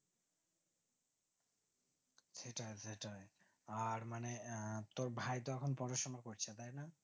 সেটাই সেটাই আর মানে আহ তোর ভাই তো এখন পড়াশোনা করছে তাই না